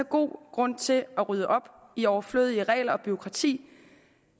god grund til at rydde op i overflødige regler og overflødigt bureaukrati